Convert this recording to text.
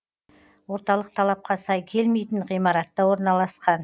орталық талапқа сай келмейтін ғимаратта орналасқан